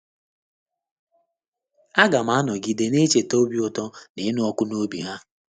Aga ma anọgide na - echeta obi ụtọ na ịnụ ọkụ n’obi ha.